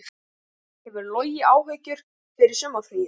Hefur Logi áhyggjur fyrir sumarið?